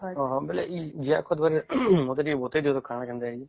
ଓହୋ ଏ ଜିଆ ଖତ ବିଷୟରେ ମତେ ଟିକେ ବତେଇ ଦିଅ ତ କଣ କେନ୍ତା ଅଛି